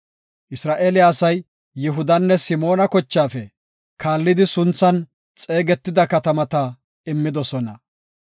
Isra7eele asay Yihudanne Simoona kochaafe kaallidi sunthan xeegetida katamata immidosona.